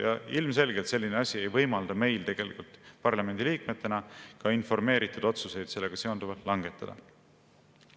Ja ilmselgelt ei võimalda selline asi meil tegelikult parlamendiliikmetena ka informeeritud otsuseid sellega seonduvalt langetada.